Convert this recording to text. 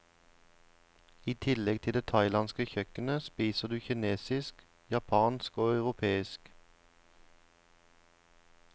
I tillegg til det thailandske kjøkkenet spiser du kinesisk, japansk og europeisk.